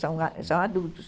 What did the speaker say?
São adultos.